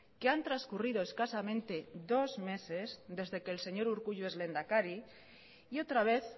que han transcurrido escasamente dos meses desde que el señor urkullu es lehendakari y otra vez